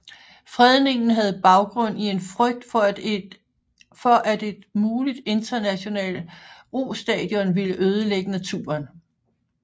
Fredningen havde baggrund i en frygt for at et muligt internationalt rostadion ville ødelægge naturen